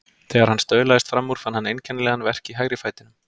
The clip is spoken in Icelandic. Þegar hann staulaðist fram úr fann hann einkennilegan verk í hægri fætinum.